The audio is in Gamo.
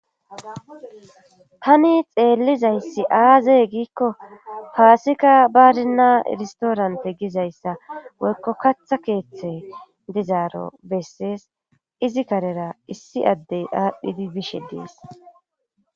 tani xeellizayssi aazey giikko paasika baazinna iristoorante gizayssa woykko katha keeththe dizaaro bessees izi karera issi addey aadhdhidi bishe dees